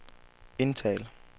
indtal